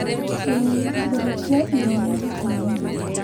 Ĩĩ therũkia iria rita igĩrĩ